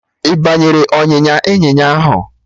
Ị banyere ọnyịnya ịnyịnya ahụ?